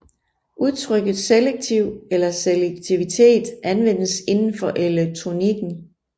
Udtrykket selektiv eller selektivitet anvendes indenfor elektronikken